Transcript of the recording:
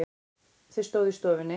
Þau stóðu í stofunni.